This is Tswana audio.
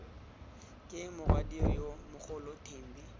ke morwadio yo mogolo thembi